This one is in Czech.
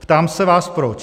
Ptám se vás proč.